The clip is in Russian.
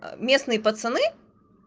местные пацаны